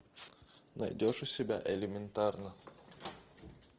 найдешь у себя элементарно